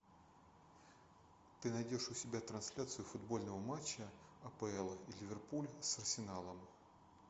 ты найдешь у себя трансляцию футбольного матча апл ливерпуль с арсеналом